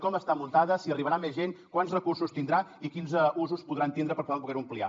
com està muntada si arribarà a més gent quants recursos tindrà i quins usos podran tindre per poder ho ampliar